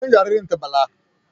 Sunan jaririn ta Bala